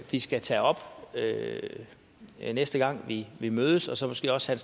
vi skal tage op næste gang vi vi mødes og så måske også have